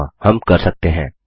हाँ हम कर सकते हैं